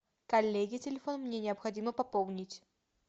коллеги телефон мне необходимо пополнить